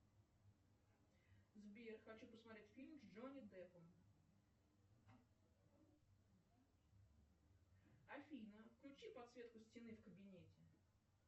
сбер хочу посмотреть фильм с джонни деппом афина включи подсветку стены в кабинете